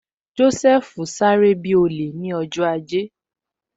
Joseph sáré bi olè ni ọjọ́ ajé